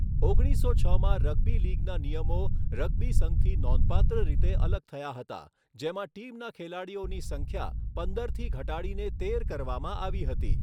ઓગણીસસો છમાં રગ્બી લીગના નિયમો રગ્બી સંઘથી નોંધપાત્ર રીતે અલગ થયા હતા, જેમાં ટીમના ખેલાડીઓની સંખ્યા પંદરથી ઘટાડીને તેર કરવામાં આવી હતી.